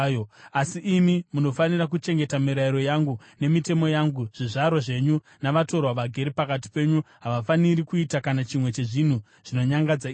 Asi imi munofanira kuchengeta mirayiro yangu nemitemo yangu. Zvizvarwa zvenyu navatorwa vagere pakati penyu havafaniri kuita kana chimwe chezvinhu zvinonyangadza izvi,